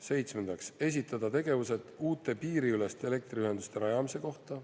Seitsmendaks, esitada tegevused uute piiriüleste elektriühenduste rajamise kohta.